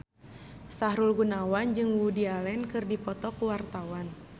Sahrul Gunawan jeung Woody Allen keur dipoto ku wartawan